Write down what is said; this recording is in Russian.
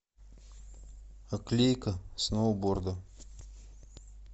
оклейка сноуборда